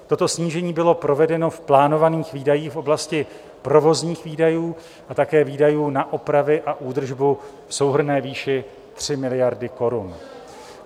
Toto snížení bylo provedeno v plánovaných výdajích v oblasti provozních výdajů a také výdajů na opravy a údržbu v souhrnné výši 3 miliardy korun.